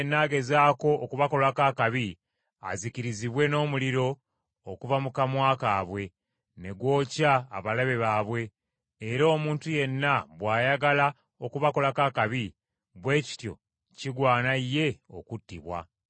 Omuntu yenna agezaako okubakolako akabi azikirizibwe n’omuliro oguva mu kamwa kaabwe, ne gwokya abalabe baabwe; era omuntu yenna bw’ayagala okubakolako akabi, bwe kityo kigwana ye okuttibwa.